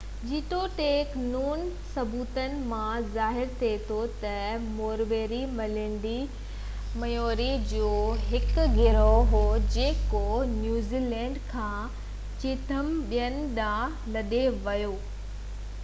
جيتوڻيڪ نون ثبوتن مان ظاهر ٿئي ٿو ته موريوري مينلينڊ ميئوري جو هڪ گروهه هيو جيڪو نيوزيلينڊ کان چيٿم ٻيٽن ڏانهن لڏي ويو ۽ پنهنجي مخصوص پرامن ثقافت قائم ڪئي